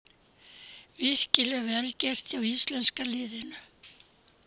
Virkilega vel gert hjá íslenska liðinu.